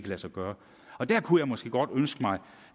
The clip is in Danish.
lade sig gøre og der kunne jeg måske godt ønske mig